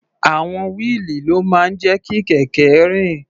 Àwọn wíìlì ló máa ń jẹ́ kí kẹ̀kẹ́ rìn.